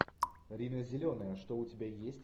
рина зеленая что у тебя есть